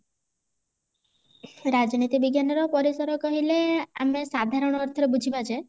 ରାଜନୀତି ବିଜ୍ଞାନର ପରିସର କହିଲେ ଆମେ ସାଧାରଣ ଅର୍ଥରେ ବୁଝିବା ଯେ